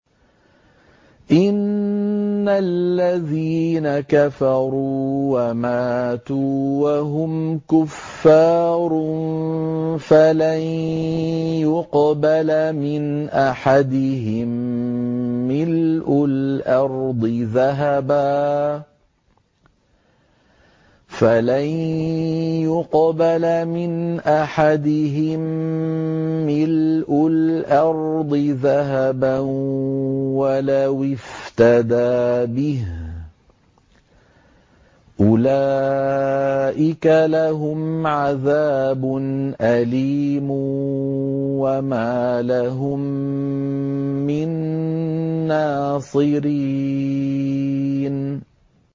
إِنَّ الَّذِينَ كَفَرُوا وَمَاتُوا وَهُمْ كُفَّارٌ فَلَن يُقْبَلَ مِنْ أَحَدِهِم مِّلْءُ الْأَرْضِ ذَهَبًا وَلَوِ افْتَدَىٰ بِهِ ۗ أُولَٰئِكَ لَهُمْ عَذَابٌ أَلِيمٌ وَمَا لَهُم مِّن نَّاصِرِينَ